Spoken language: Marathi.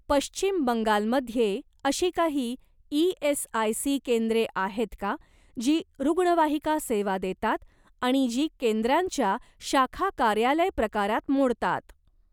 पश्चिम बंगाल मध्ये अशी काही ई.एस.आय.सी केंद्रे आहेत का जी रुग्णवाहिका सेवा देतात आणि जी केंद्रांच्या शाखा कार्यालय प्रकारात मोडतात?